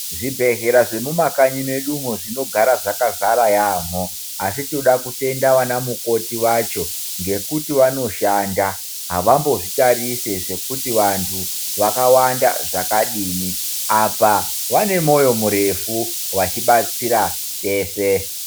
Zvibhehleya zvemumakanyi mwedu umwo zvinogara zvakazara yaamho asi tinoda kutenda anamukoti acho ngekuti vanoshanda ,havambozvitarise zvekuti vantu vakawanda zvakadini apa vanemoyo murefu vachibatsira teshe.